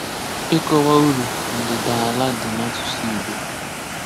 Ịkọwa uru ndịdaala dị n’ásụ̀sụ̀ Ìgbò.